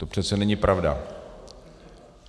To přece není pravda.